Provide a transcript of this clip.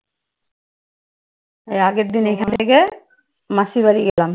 এর আগের দিন এখান থেকে মাসীর বাড়ি গেলাম।